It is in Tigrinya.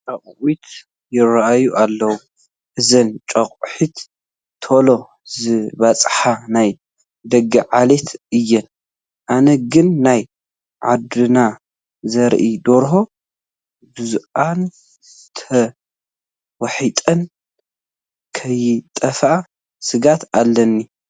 ጨቓዊት ይርአያ ኣለዋ፡፡ እዘን ጨቓዊት ቶሎ ዝባፅሓ ናይ ደገ ዓሌት እየን፡፡ ኣነ ግን ናይ ዓድና ዘርኢ ደርሆ በዚአን ተዋሒጠን ከይጠፍኣ ስግኣት ኣለኒ፡፡